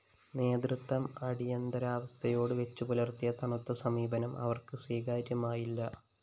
നേതൃത്വം അടിയന്തരവസ്ഥയോട് വെച്ചുപുലര്‍ത്തിയ തണുത്ത സമീപനം അവര്‍ക്ക് സ്വീകാര്യമായില്ല